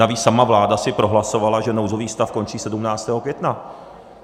Navíc sama vláda si prohlasovala, že nouzový stav končí 17. května.